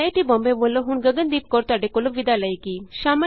IIT Bombay ਵਲੋਂ ਹੁਣ Gagandeep Kaur ਵਿਦਾ ਲਏਗੀ